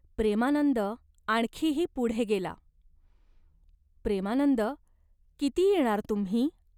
प्रेमानंद आणखीही पुढे गेला. "प्रेमानंद, किती येणार तुम्ही ?